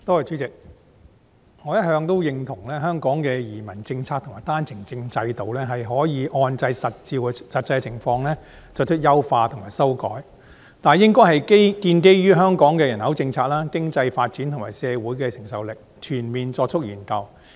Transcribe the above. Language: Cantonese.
代理主席，我一直認同香港的移民政策及單程證制度，是可以按照實際的情況作出優化及修改，但有關的優化及修改應該建基於香港的人口政策、經濟發展及社會承受力，並有全面的研究。